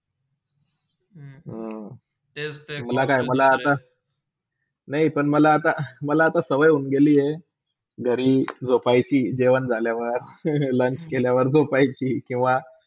हम्म, मला काय, मला आता नय पण मला आता मला आता स्वय होन गेली हाय. घरी झोपायची जेवण झाल्यावर lunch केल्यावर झोपायची किवा